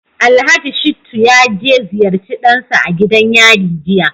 Alhaji Shittu ya je ya ziyarci dansa a gidan yari jiya